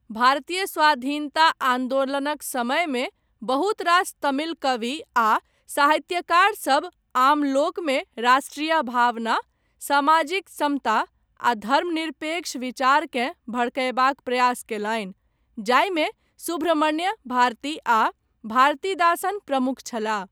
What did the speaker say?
भारतीय स्वाधीनता आन्दोलनक समयमे बहुत रास तमिल कवि आ साहित्यकार सभ आम लोकमे राष्ट्रिय भावना, सामाजिक समता, आ धर्मनिरपेक्ष विचारकेँ भड़कयबाक प्रयास कयलनि, जाहिमे सुब्रह्मण्य भारती आ भारतीदासन प्रमुख छलाह।